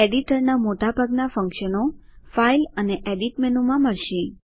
એડિટરના મોટાભાગના ફ્ન્ક્શનો ફાઇલ અને એડિટ મેનુમાં મળશે